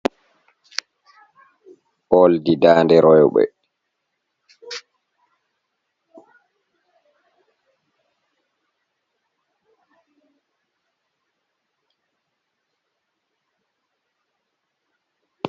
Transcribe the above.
Oldi daande roɓɓe.